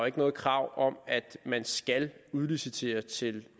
ikke noget krav om at man skal udlicitere til